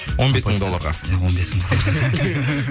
он бес мың долларға иә он бес мың долларға